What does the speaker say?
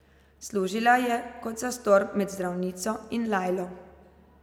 Služila je kot zastor med zdravnico in Lajlo.